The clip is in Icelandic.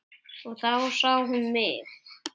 Og þá sá hún mig.